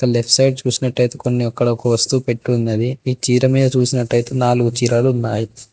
Left side చూసినటైతే కొన్ని అక్కడ ఒక వస్తువు పెట్టి ఉన్నది ఈ చీర మీద చూసినటైతే నాలుగు చీరలు ఉన్నాయి.